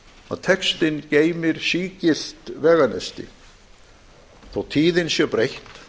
að textinn geymir sígilt veganesti þótt tíðin sé breytt